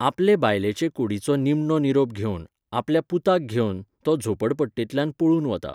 आपले बायलेचे कुडीचो निमणो निरोप घेवन, आपल्या पुताक घेवन, तो झोपडपट्टेंतल्यान पळून वता.